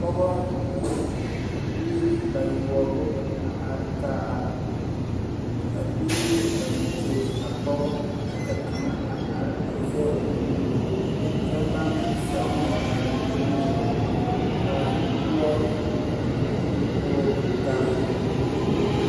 Pɔgɔ ne biiri bayoubu a arẽ kaa biiri a kɔri a poɔ kye ka kanga a arẽ a zeg ɔ nu kye bang sege maraa dankpining ming ka poor people governance.